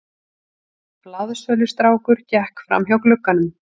Blaðsölustrákur gekk framhjá glugganum.